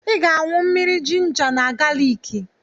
I ga-aṅụ mmiri jinja na galiki.